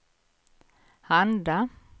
handla